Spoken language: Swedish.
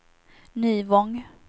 Nyvång